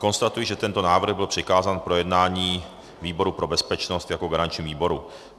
Konstatuji, že tento návrh byl přikázán k projednání výboru pro bezpečnost jako garančnímu výboru.